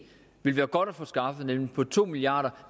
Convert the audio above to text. ville være godt at få skaffet nemlig få to milliard